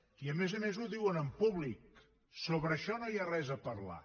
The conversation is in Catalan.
i a més a més ho diuen en públic sobre això no hi ha res a parlar